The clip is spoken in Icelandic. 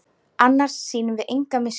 Annars sýnum við enga miskunn